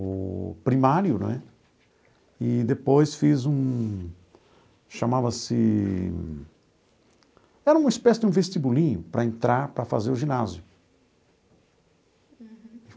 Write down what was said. o primário né, e depois fiz um... chamava-se... Era uma espécie de um vestibulinho para entrar para fazer o ginásio.